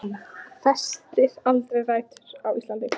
Hann festir aldrei rætur á Íslandi.